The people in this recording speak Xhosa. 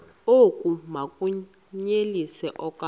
oku bakunyelise okuya